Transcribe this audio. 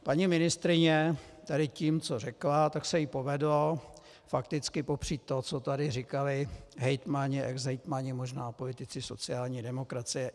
Paní ministryně tady tím, co řekla, tak se jí povedlo fakticky popřít to, co tady říkali hejtmani, exhejtmani, možná politici sociální demokracie.